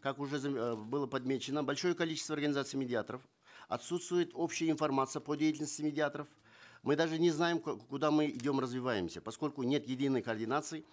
как уже э было подмечено большое количество организаций медиаторов отсутствует общая информация по деятельности медиаторов мы даже не знаем куда мы идем развиваемся поскольку нет единой координации